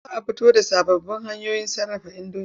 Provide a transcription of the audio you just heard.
Za a fito da sababbin hanyoyin sarrafa indomi.